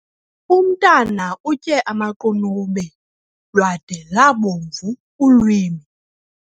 Umntwana utye amaqunube lwada lwabomvu ulwimi.